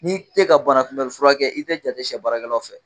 N'i te k'a banakunbɛ furakɛ i tɛ jate sɛ baarakɛlaw fɛ.